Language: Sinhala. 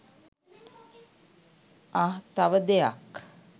අහ් තව දෙයක්